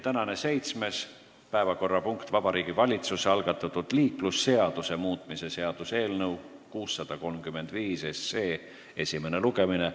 Tänane seitsmes päevakorrapunkt: Vabariigi Valitsuse algatatud liiklusseaduse muutmise seaduse eelnõu 635 esimene lugemine.